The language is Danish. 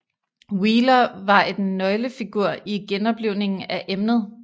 Wheeler var et nøglefigur i genoplivningen af emnet